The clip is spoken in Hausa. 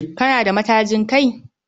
Kana da matajin Kai?